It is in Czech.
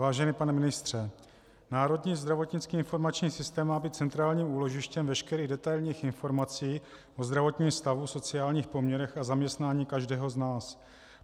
Vážený pane ministře, Národní zdravotnický informační systém má být centrálním úložištěm veškerých detailních informací o zdravotním stavu, sociálních poměrech a zaměstnání každého z nás.